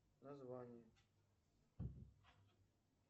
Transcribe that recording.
название